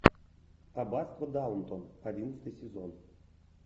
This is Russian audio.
аббатство даунтон одиннадцатый сезон